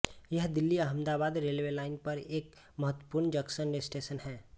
यह दिल्लीअहमदाबाद railway line पर एक महत्वपूर्ण जंक्शन स्टेशन है